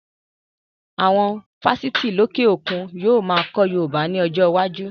Awon Fáṣítì lókè òkun yíò máa kọ́ Yorùbá ni ọjọ́ iwájú